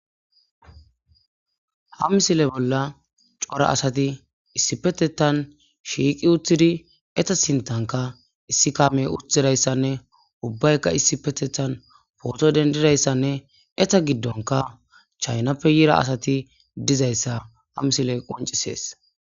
ha misile bolla cora asati issi petetan shiiqi uthidi eta sintanka issi kamey uthidayssanne ubbaykka issi petethan pooto dendidayssanne eta giddonka chaynappe yira asati dizayssa ha misile qoncisees